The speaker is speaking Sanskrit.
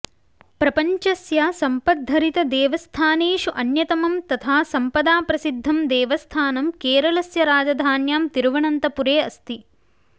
प्रपञ्चस्य सम्पद्भरितदेवस्थानेषु अन्यतमम् तथा सम्पदा प्रसिध्दं देवस्थानं केरलस्य राजधान्यां तिरुवनन्तपुरे अस्ति